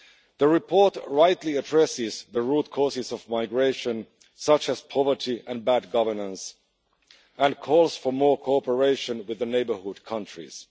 The report rightly addresses the root causes of migration, such as poverty and bad governance and calls for more cooperation with the neighbourhood countries.